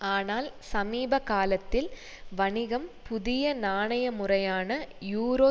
ஆனால் சமீப காலத்தில் வணிகம் புதிய நாணய முறையான யூரோ